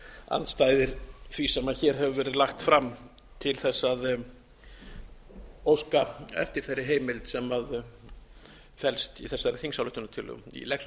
andstæðir því sem hér hefur verið lagt fram til þess að óska eftir þeirri heimild sem felst í þessari þingsályktunartillögu ég legg svo